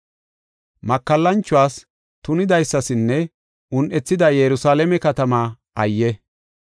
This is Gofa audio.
Makallanchuwas, tunidaysasinne ba deriya un7ethida Yerusalaame katamaa ayye!